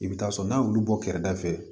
I bɛ taa sɔrɔ n'a y'olu bɔ kɛrɛda fɛ